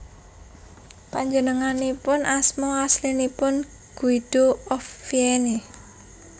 Panjenenganipun asma aslinipun Guido of Vienne